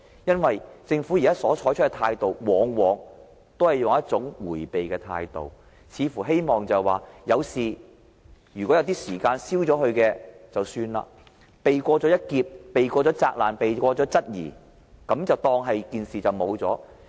現時，政府往往採用迴避的態度，希望在有事發生時，任由時間沖淡記憶，便可避過一劫、避過責難、避過質疑，當作沒一回事。